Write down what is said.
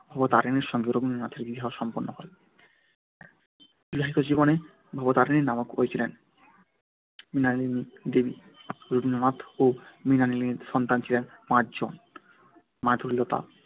ভবতারিণীর সঙ্গে রবীন্দ্রনাথের বিবাহ সম্পন্ন হয় বিবাহিত জীবনে ভবতারিণীর নামকরণ হয়েছিল মৃণালিনী দেবী । রবীন্দ্রনাথ ও মৃণালিনীর সন্তান ছিলেন পাঁচ জন মাধুরীলতা